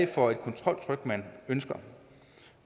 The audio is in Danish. for et kontroltryk man ønsker